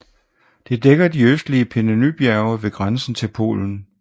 Det dækker de østlige Pieninybjerge ved grænsen til Polen